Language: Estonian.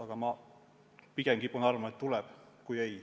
Aga ma pigem kipun arvama, et tuleb ikkagi.